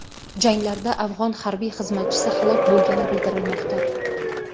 Janglarda afg‘on harbiy xizmatchisi halok bo‘lgani bildirilmoqda.